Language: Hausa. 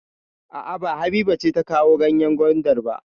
A'a, ba Habiba ce ta kawo ganyen gwandar ba.